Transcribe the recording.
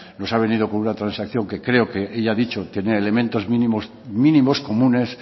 nos ha venido con una transacción que creo que ella ha dicho tener elementos mínimos comunes